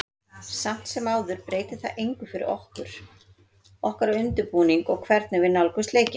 Samt sem áður breytir það engu fyrir okkur, okkar undirbúning og hvernig við nálgumst leikinn.